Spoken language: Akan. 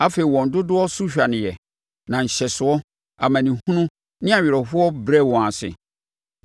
Afei wɔn dodoɔ so hwaneeɛ na nhyɛsoɔ, amanehunu ne awerɛhoɔ brɛɛ wɔn ase;